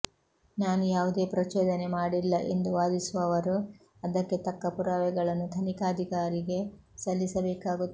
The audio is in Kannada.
ನಾವು ಯಾವುದೇ ಪ್ರಚೋದನೆ ಮಾಡಿಲ್ಲ ಎಂದು ವಾದಿಸುವವರು ಅದಕ್ಕೆ ತಕ್ಕ ಪುರಾವೆಗಳನ್ನು ತನಿಖಾಧಿಕಾರಿಗೆ ಸಲ್ಲಿಬೇಕಾಗುತ್ತದೆ